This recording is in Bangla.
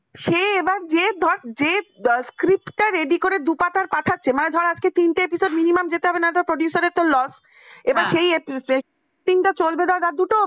সে এবার যে ধর script ready করে দু পাতার পাঠাচ্ছে মানে ধর আজকে তিনটা episode minimum যেতে হবে, না হলে producer র তো লস। এবার সেই episode shooting চলবে রাত দুটো অবধি